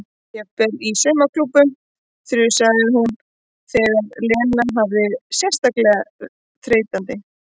Jafnvel í saumaklúbbnum þusaði hún þegar Lena hafði verið sérstaklega þreytandi.